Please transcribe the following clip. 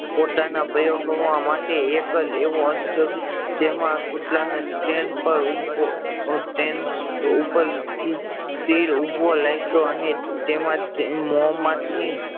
પોતાના પ્રયાગો માટે એક જ એવો અર્થ છે બકે જેમાં કૂતરાને સ્ટેન્ડ પર ઉભો સ્ટેન્ડ પર સ્થિર ઉભો રાખ્યો અને તેમાં થી મોં માંથી